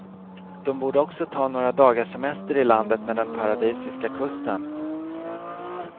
De borde också ta några dagars semester i landet med den paradisiska kusten.